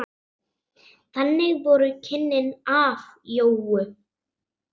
Þannig voru kynnin af Jónu.